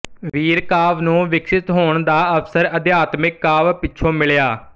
ਵੀਰ ਕਾਵਿ ਨੂੰ ਵਿਕਸਤ ਹੋਣ ਦਾ ਅਵਸਰ ਅਧਿਆਤਮਕ ਕਾਵਿ ਪਿੱਛੋਂ ਮਿਲਿਆ